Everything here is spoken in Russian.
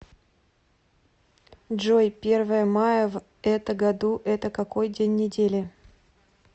джой первое мая в это году это какой день недели